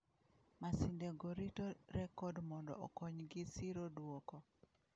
Masinde go rito rekod mondo okonygi siro duoko.